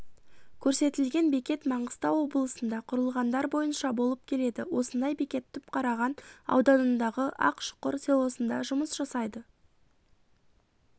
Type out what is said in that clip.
көрсетілген бекет маңғыстау облысында құрылғандар бойынша болып келеді осындай бекет түпқараған ауданындағы ақшұқыр селосында жұмыс жасайды